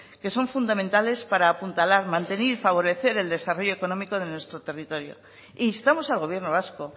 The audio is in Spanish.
que son fundamentales para apuntalar mantener y favorecer el desarrollo económico de nuestro territorio e instamos al gobierno vasco